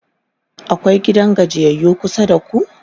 akwai gidan gajiyayyu kusa da ku?